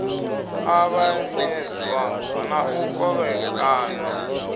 u ṱavhanyezwa na u kovhekanywa